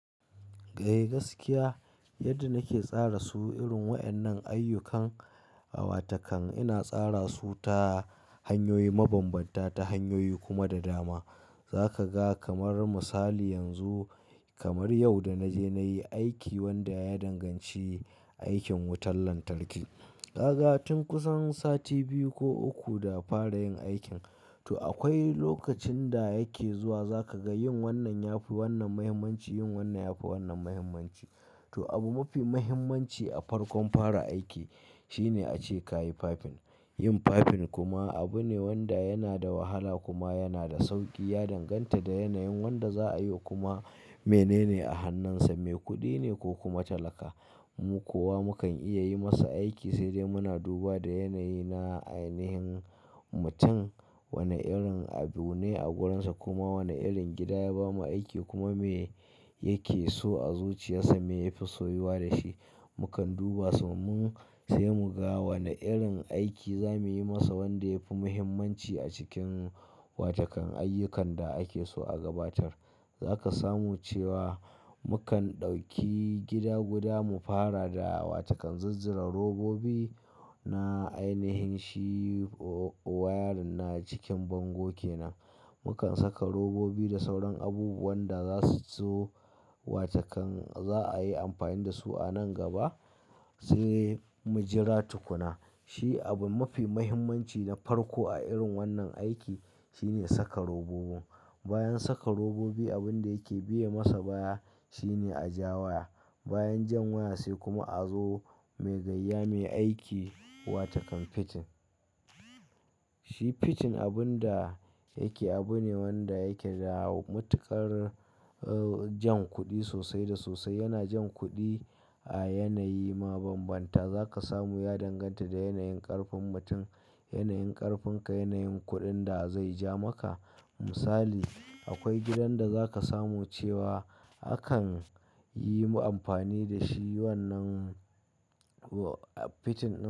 Eh gaskiya yadda nake tsara su irin waƴannan ayyukan awatakan, ina tsara su ta hanyoyi mabambanta, ta hanyoyi kuma da dama. Za ka ga kamar misali yanzu kamar yau da naje nayi aiki wanda ya danganci aikin wutar lantarki. Ka ga tun kusan sati biyu ko uku da fara yin aikin to akwai lokacin da yake zuwa za ka ga yin wannan yafi wannan muhimmanci, yin wannan yafi wannan muhimmanci. To abu mafi mahimmanci a farkon fara aiki shine ace kayi fafin. Yin fafin kuma abu ne wanda yana da wahala kuma yana da sauƙi ya danganta da yanayin wanda za'a yi wa kuma menene a hannunsa, me kuɗi ne ko kuma talaka. Mu kuwa mukan iya yi masa aiki sai dai muna duba da yanayi na ainihin mutum, wane irin abu ne a gurin sa kuma wane irin gida ya bamu aiki kuma me yake so a zuciyarsa, me yafi soyuwa da shi. Mukan duba su mun sai mu ga wane irin aiki za muyi masa wanda yafi muhimmanci a cikin watakan ayyukan da ake so a gabatar. Za ka samu cewa mukan ɗauki gida guda mu fara da awatakan zuzzura robobi na ainihin shi wayarin na cikin bango kenan. Mukan saka robobi da sauran abubuwan da za su zo wajen za'a yi amfani da su a nan gaba sai mujira tukuna. Shi abu mafi mahimmanci na farko a irin wannan aiki shine saka robobi. Bayan saka robobi abin da yake biya masa baya shine a ja waya. Bayan jan waya sai kuma a zo mai gayya, mai aiki watakan fitin. Shi fitin abun da yake abu ne wanda yake da matuƙar jan kuɗi sosai da sosai. Yana jan kuɗi a yanayi mabambanta. Za ka samu ya danganta da yanayin ƙarfin mutum, yanayin ƙarfinka, yanayin kuɗin da zai ja maka. Misali, akwai gidan da za ka samu cewa akan yi amfani da shi wannan fitin ɗi.